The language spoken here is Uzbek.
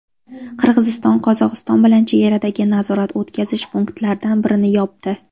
Qirg‘iziston Qozog‘iston bilan chegaradagi nazorat-o‘tkazish punktlaridan birini yopdi.